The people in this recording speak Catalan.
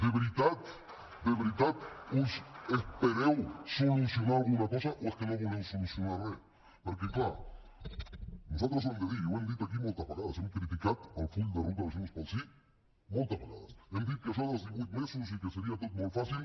de veritat de veritat us espereu solucionar alguna cosa o és que no voleu solucionar re perquè clar nosaltres ho hem de dir i ho hem dit aquí moltes vegades hem criticat el full de ruta de junts pel sí moltes vegades hem dit que això dels divuit mesos i que seria tot molt fàcil